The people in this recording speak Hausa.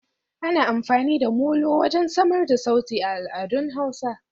Ana amfani da Molo wajen samar da sauti a al'adun hausa.